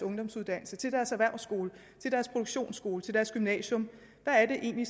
ungdomsuddannelse til deres erhvervsskole deres produktionsskole deres gymnasium hvad er det egentlig